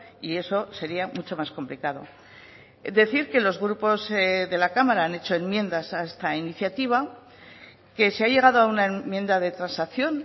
y eso sería mucho más complicado decir que los grupos de la cámara han hecho enmiendas a esta iniciativa que se ha llegado a una enmienda de transacción